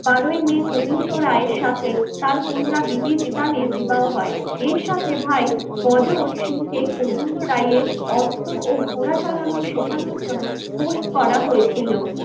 বারোই মে গোবিন্দ রায়ের সাথে তার কন্যা বিবির পিতানের বিবাহ হয়. এর সাথে ভাই গজর গজল সিংকে গোবিন্দ রায়ের অস্ত্র ও ঘোড়া চালানো শেখানোর জন্য পোস্ট করা হয়েছিল